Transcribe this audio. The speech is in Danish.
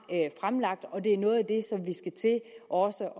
fremlagt og det er noget af det som vi også